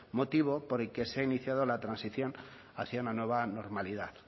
motivo por el que se ha iniciado la transición hacia una nueva normalidad